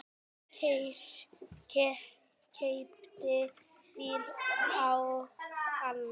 Keypti bíl og annan.